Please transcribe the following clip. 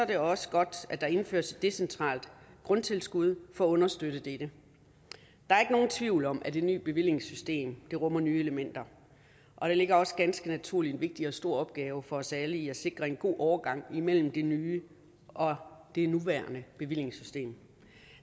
det også godt at der indføres et decentralt grundtilskud for at understøtte dette der er ikke nogen tvivl om at det nye bevillingssystem rummer nye elementer og der ligger også ganske naturligt en vigtig og stor opgave for os alle i at sikre en god overgang imellem det nye og det nuværende bevillingssystem